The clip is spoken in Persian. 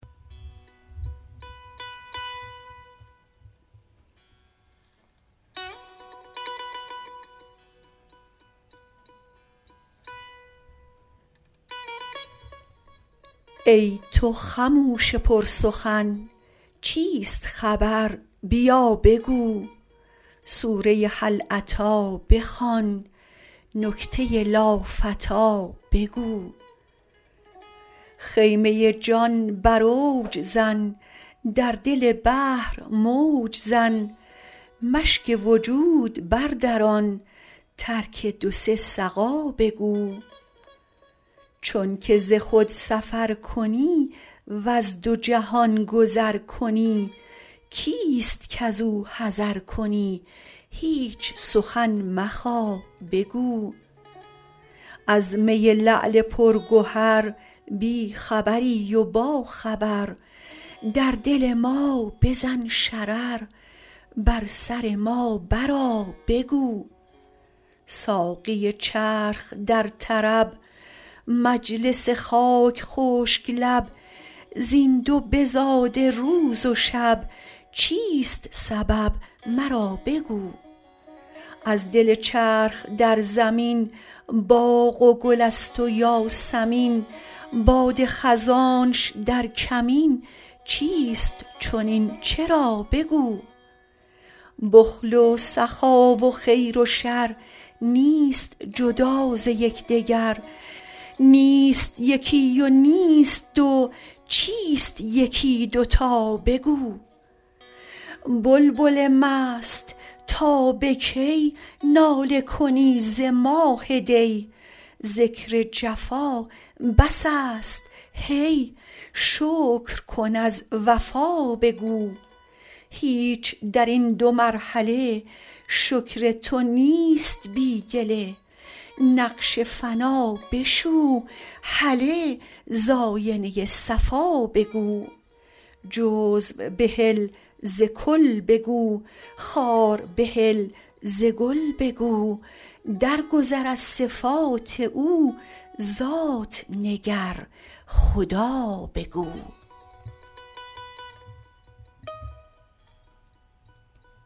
ای تو خموش پرسخن چیست خبر بیا بگو سوره هل اتی بخوان نکته لافتی بگو خیمه جان بر اوج زن در دل بحر موج زن مشک وجود بردران ترک دو سه سقا بگو چونک ز خود سفر کنی وز دو جهان گذر کنی کیست کز او حذر کنی هیچ سخن مخا بگو از می لعل پرگهر بی خبری و باخبر در دل ما بزن شرر بر سر ما برآ بگو ساقی چرخ در طرب مجلس خاک خشک لب زین دو بزاده روز و شب چیست سبب مرا بگو از دل چرخ در زمین باغ و گل است و یاسمین باد خزانش در کمین چیست چنین چرا بگو بخل و سخا و خیر و شر نیست جدا ز یک دگر نیست یکی و نیست دو چیست یکی دو تا بگو بلبل مست تا به کی ناله کنی ز ماه دی ذکر جفا بس است هی شکر کن از وفا بگو هیچ در این دو مرحله شکر تو نیست بی گله نقش فنا بشو هله ز آینه صفا بگو جزو بهل ز کل بگو خار بهل ز گل بگو درگذر از صفات او ذات نگر خدا بگو